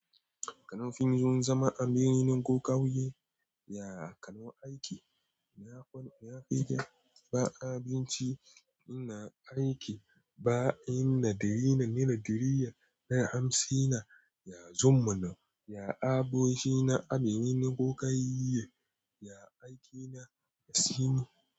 Kanun fim zun zama a birnin ko ƙauye, ya kanon aiki, na kwana, na fijir, ba abinci, ina aiki, ba inna diri na, nera diriya, na hamsi na, ya zumuna, ya aboki na, a birni ko ƙauye, ya aiki na, ya simi.